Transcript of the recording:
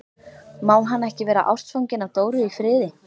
Má hann ekki vera ástfanginn af Dóru í friði?